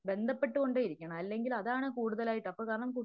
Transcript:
ബന്ധപ്പെട്ടു കൊണ്ടേയിരിക്കണം അല്ലെങ്കില് അതാണ് കൂടുതലായിട്ട് അപ്പോ കാരണം